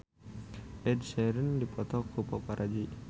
Ed Sheeran dipoto ku paparazi